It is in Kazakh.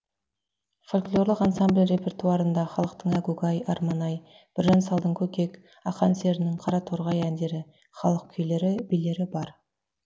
фольклорлық ансамбль репертуарында халықтың әгугай арман ай біржан салдың көкек ақан серінің қараторғай әндері халық күйлері билері бар